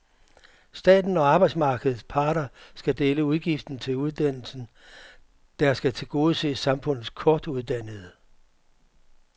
Staten og arbejdsmarkedets parter skal dele udgiften til uddannelsen, der skal tilgodese samfundets kortuddannede.